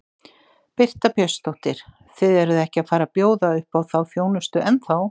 Birta Björnsdóttir: Þið eruð ekki að fara að bjóða upp á þá þjónustu ennþá?